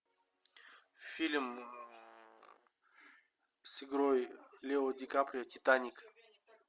фильм с игрой лео дикаприо титаник